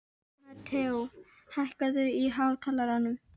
Mateó, hækkaðu í hátalaranum.